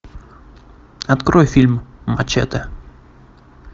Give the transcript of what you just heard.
открой фильм мачете